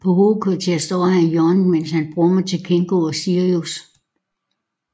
På Hovedkvarteret står han i hjørnet mens han brummer til Kingo og Sirius